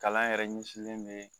Kalan yɛrɛ ɲɛsilen bɛ